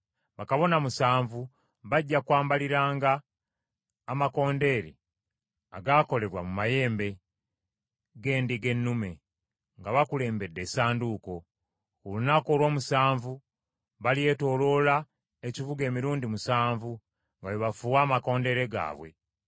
Bakabona musanvu bajja kwambaliranga amakondeere agaakolebwa mu mayembe g’endiga ennume, nga bakulembedde Essanduuko. Ku lunaku olw’omusanvu balyetooloola ekibuga emirundi musanvu nga bwe bafuuwa amakondeere gaabwe.